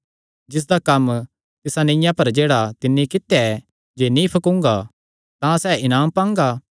जिसदा कम्म तिसा नीआ पर जेह्ड़ा तिन्नी कित्या ऐ जे नीं फकूंगा तां सैह़ इनाम पांगा